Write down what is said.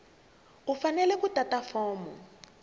u fanele ku tata fomo